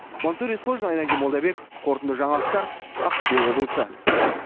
мансұр есқожин айнадин молдабеков қорытынды жаңалықтар ақтөбе облысы